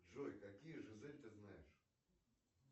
джой какие жизель ты знаешь